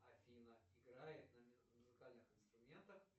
афина играет на музыкальных инструментах